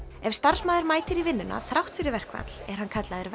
ef starfsmaður mætir í vinnuna þrátt fyrir verkfall er hann kallaður